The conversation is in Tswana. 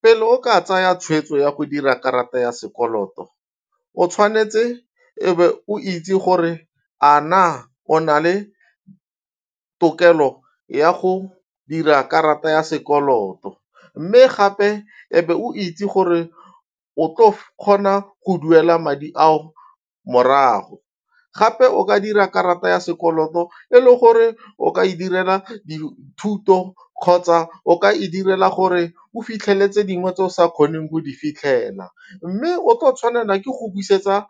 Pele o ka tsaya tshweetso ya go dira karata ya sekoloto, o tshwanetse e be o itse gore a na o na le tokelo ya go dira karata ya sekoloto mme gape e be o itse gore o tlo kgona go duela madi ao morago, gape o ka dira karata ya sekoloto e le gore o ka e direla dithuto kgotsa o ka e direla gore o fitlhele tse dingwe tse o sa kgoneng go di fitlhela mme o tlo tshwanela ke go busetsa